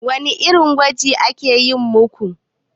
Wani irin gwaji aka yi maku?